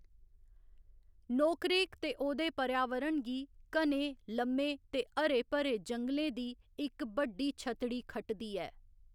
नोकरेक ते ओह्दे पर्यावरण गी घने, लम्मे ते हरे भरे जंगलें दी इक बड्डी छतड़ी खटदी ऐ।